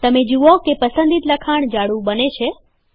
તમે જુઓ કે પસંદિત લખાણ જાડું બને છે